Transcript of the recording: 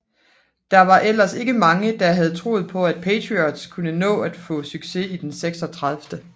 Der var ellers ikke mange der havde troet på at Patriots kunne nå at få succes i den 36